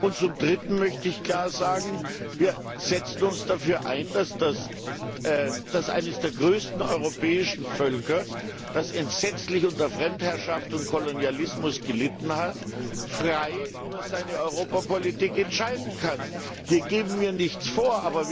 Und zum Dritten möchte ich klar sagen Wir setzen uns dafür ein, dass eines der größten europäischen Völker, das entsetzlich unter Fremdherrschaft und Kolonialismus gelitten hat, frei über seine Europapolitik entscheiden kann. Wir geben hier nichts vor.